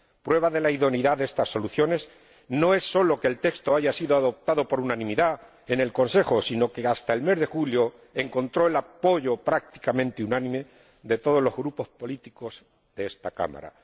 Prueba de la idoneidad de estas soluciones no es solo que el texto haya sido adoptado por unanimidad en el Consejo, sino que, hasta el mes de julio, encontró el apoyo prácticamente unánime de todos los grupos políticos de esta Cámara.